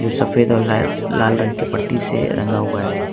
सफेद और ला लाल रंग की पट्टी से रंगा हुआ है।